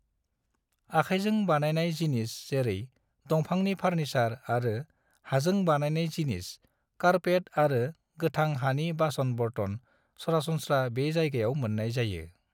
आखाइजों बानायनाय जिनिस जेरै दंफांनि फार्निसार आरो हाजों बानायनाय जिनिस, कार्पेट आरो गोथां हानि बासन-बर्तन सरासनस्रा बे जायगायाव मोननाय जायो।